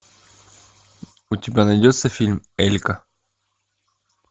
у тебя найдется фильм элька